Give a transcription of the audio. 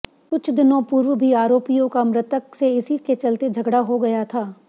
कुछ दिनों पूर्व भी आरोपियों का मृतक से इसी के चलते झगडा हो गया था